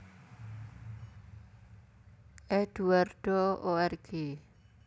Eduardo org